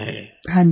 प्रेम जी हाँ जी